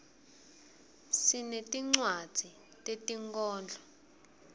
sinetircwadzi tetinkhorbco